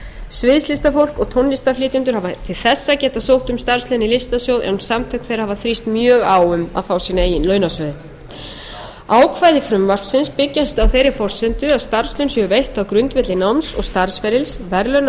sviðslistafólk og tónlistarflytjendur hafa til þessa getað sótt um starfslaun í listasjóð en samtök þeirra hafa þrýst mjög á um að fá sína eigin launasjóði ákvæði frumvarpsins byggjast á þeirri forsendu að starfslaun séu veitt á grundvelli náms og starfsferils verðlauna og